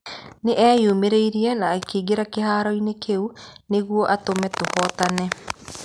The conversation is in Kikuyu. Nĩ eeyamũrĩire na akĩingĩra kĩhaaro-inĩ kĩu nĩguo atũme tũhootane.